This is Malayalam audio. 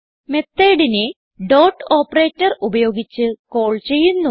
Methodനെ ഡോട്ട് ഓപ്പറേറ്റർ ഉപയോഗിച്ച് കാൾ ചെയ്യുന്നു